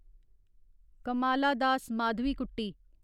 Kamala Das Madhavikutty